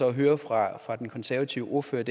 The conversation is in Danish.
at høre fra den konservative ordfører